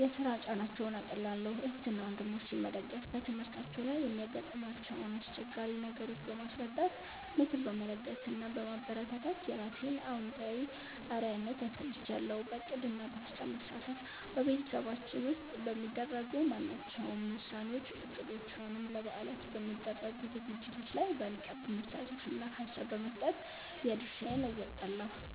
የሥራ ጫናቸውን አቃልላለሁ። እህትና ወንድሞቼን መደገፍ፦ በትምህርታቸው ላይ የሚያጋጥሟቸውን አስቸጋሪ ነገሮች በማስረዳት፣ ምክር በመለገስ እና በማበረታታት የራሴን አዎንታዊ አርአያነት አሳይሻለሁ። በዕቅድና በሐሳብ መሳተፍ፦ በቤተሰባችን ውስጥ በሚደረጉ ማናቸውም ውሳኔዎች፣ እቅዶች ወይም ለበዓላት በሚደረጉ ዝግጅቶች ላይ በንቃት በመሳተፍና ሐሳብ በመስጠት የድርሻዬን እወጣለሁ።